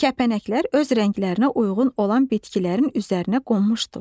Kəpənəklər öz rənglərinə uyğun olan bitkilərin üzərinə qonmuşdular.